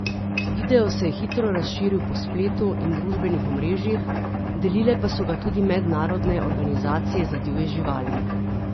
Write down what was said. Video se je hitro razširil po spletu in družbenih omrežjih, delile pa so ga tudi mednarodne organizacije za divje živali.